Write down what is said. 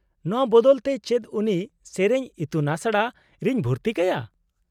-ᱱᱚᱶᱟ ᱵᱚᱫᱚᱞ ᱛᱮ ᱪᱮᱫ ᱩᱱᱤ ᱥᱮᱹᱨᱮᱹᱧ ᱤᱛᱩᱱᱟᱥᱲᱟ ᱨᱮᱧ ᱵᱷᱩᱨᱛᱤ ᱠᱟᱭᱟ ?